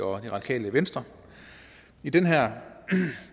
og det radikale venstre i den her